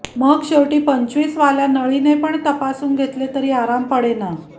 मग शेवटी पंचवीसवाल्या नळीने पण तपासून घेतले तरी आराम पडेना